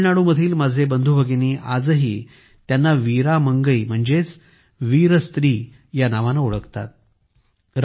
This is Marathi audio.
तामिळनाडूमधील माझे बंधूभगिनीआजही त्यांना वीरा मंगई म्हणजे वीर स्त्री या नावाने ओळखतात